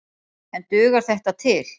En dugar þetta til?